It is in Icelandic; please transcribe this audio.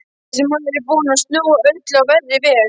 Þessi maður er búinn að snúa öllu á verri veg.